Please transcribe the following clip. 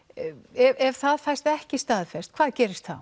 ef það fæst ekki staðfest hvað gerist þá